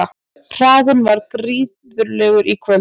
Hraðinn var gífurlegur í kvöld